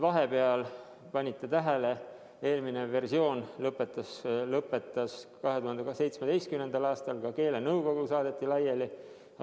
Kas panite tähele, et eelmine versioon lõpetas kehtivuse 2017. aastal ja ka keelenõukogu saadeti laiali?